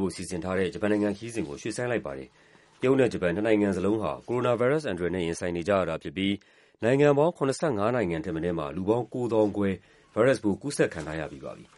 ဖို့ စီစဉ်ထားတဲ့ ဂျပန်နိုင်ငံခရီးစဉ်ကို ရွှေ့ဆိုင်းလိုက်ပါတယ်။ တရုတ်နဲ့ ဂျပန် နှစ်နိုင်ငံစလုံးဟာ ကိုရိုနာဗိုင်းရပ်စ်အန္တရာယ်နဲ့ ရင်ဆိုင်နေကြရတာဖြစ်ပြီး နိုင်ငံပေါင်း ၇၅ နိုင်ငံထက်မနည်းမှာ လူပေါင်း ၉၀,၀၀၀ခွဲ ဗိုင်းရပ်စ်ပိုး ကူးစက်ခံထားရပြီးပါပြီ။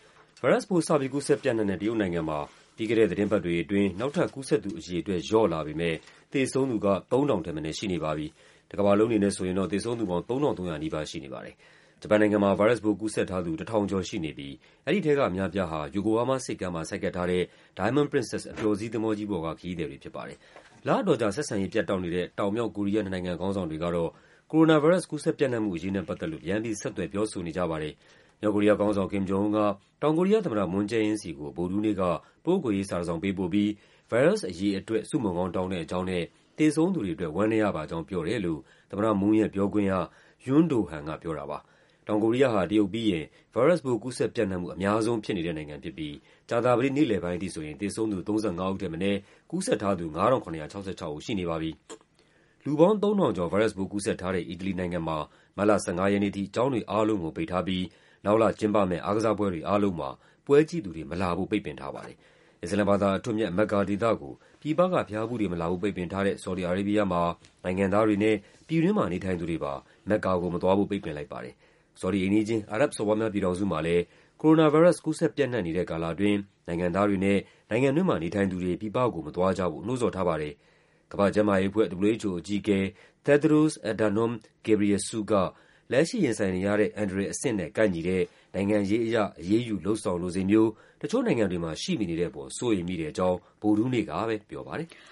ဗိုင်းရပ်စ်ပိုး စပြီး ကူးစက်ပျံ့နှံ့တဲ့ တရုတ်နိုင်ငံမှာ ပြီးခဲ့တဲ့သီတင်းပတ်တွေအတွင်း နောက်ထပ်ကူးစက်သူ အရေအတွက် လျော့လာပေမဲ့ သေဆုံးသူက ၃,၀၀၀ ထက်မနည်းရှိနေပါပြီ။ တကမ္ဘာလုံးအနေနဲ့ဆိုရင်တော့ သေဆုံးသူပေါင်း ၃,၃၀၀ နီးပါးရှိနေပါတယ်။ ဂျပန်နိုင်ငံမှာ ဗိုင်းရပ်စ်ပိုးကူးစက်ထားသူ ၁,၀၀၀ ကျော်ရှိနေပြီး အဲဒီထဲကအများအပြားဟာ ယိုကိုဟားမားဆိပ်ကမ်းမှာ ဆိုက်ကပ်ထားတဲ့ Diamond Princess အပျော်စီးသင်္ဘောကြီးပေါ်က ခရီးသည်တွေဖြစ်ပါတယ်။ လအတော်ကြာ ဆက်ဆံရေးပြတ်တောက်နေတဲ့ တောင်၊ မြောက် ကိုရီးယား နှစ်နိုင်ငံခေါင်းဆောင်တွေကတော့ ကိုရိုနာဗိုင်းရပ်စ် ကူးစက်ပျံ့နံှ့မှုအရေးနဲ့ ပတ်သက်လို့ ပြန်ပြီး ဆက်သွယ် ပြောဆိုနေကြပါတယ်။ မြောက်ကိုရီးယားခေါင်းဆောင် Kim Jong Un က တောင်ကိုရီးယားသမ္မတ Moon Jae-in ဆီကို ဗုဒ္ဓဟူးနေ့က ပုဂ္ဂိုလ်ရေး စာတစောင်ပေးပို့ပြီး ဗိုင်းရပ်စ်အရေးအတွက် ဆုမွန်ကောင်းတောင်းတဲ့အကြောင်းနဲ့ သေဆုံးသူတွေအတွက် ဝမ်းနည်းရပါကြောင်း ပြောတယ်လို့ သမ္မတ Moon ရဲ့ပြောခွင့်ရ Yoon Do-han က ပြောတာပါ။ လူပေါင်း ၃,၀၀၀ ကျော် ဗိုင်းရပ်စ်ပိုးကူးစက်ထားတဲ့ အီတလီနိုင်ငံမှာ မတ်လ ၁၅ ရက်နေ့အထိ ကျောင်းတွေအားလုံးကို ပိတ်ထားပြီး နောက်လကျင်းပမယ့် အားကစားပွဲတွေအားလုံးမှာ ပွဲကြည့်သူတွေမလာဖို့ ပိတ်ပင်ထားပါတယ်။ အစ္စလာမ်ဘာသာအထွဋ်အမြတ် မက်ကာဒေသကို ပြည်ပက ဘုရားဖူးတွေ မလာဖို့ ပိတ်ပင်ထားတဲ့ ဆော်ဒီ အာရေးဘီးယားမှာ နိုင်ငံသားတွေနဲ့ ပြည်တွင်းမှာနေထိုင်သူတွေပါ မက္ကာကိုမသွားဖို့ ပိတ်ပင်လိုက်ပါတယ်။ ဆော်ဒီအိမ်နီးချင်း အာရပ်ဘ်စော်ဘွားများ ပြည်ထောင်စုမှာလည်း ကိုရိုနာဗိုင်းရပ်စ် ကူးစက်ပျံ့နှံ့နေတဲ့ကာလအတွင်း နိုင်ငံသားတွေနဲ့ နိုင်ငံတွင်းမှာနေထိုင်သူတွေ ပြည်ပကို မသွားကြဖို့ နှိုးဆော်ထားပါတယ်။ ကမ္ဘာ့ကျန်းမာရေးအဖွဲ့ WHO အကြီးအကဲ Tedros Adhanom Ghebreysus က လက်ရှိရင်ဆိုင်နေရတဲ့ အန္တရာယ်အဆင့်နဲ့ ကိုက်ညီတဲ့ နိုင်ငံရေးအရ အရေးယူ လုပ်ဆောင်လိုစိတ်မျိုး တချို့နိုင်ငံတွေမှာ ရှိမနေတဲ့အပေါ် စိုးရိမ်မိတဲ့အကြောင်း ဗုဒ္ဓဟူးနေ့က ပြောပါတယ်။